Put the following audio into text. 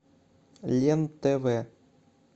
лен тв